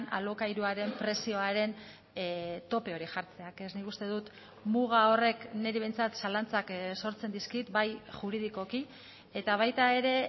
alokairuaren prezioaren tope hori jartzeak ez nik uste dut muga horrek niri behintzat zalantzak sortzen dizkit bai juridikoki eta baita ere